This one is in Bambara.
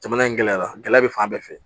Jamana in gɛlɛyara gɛlɛya bɛ fan bɛɛ fɛ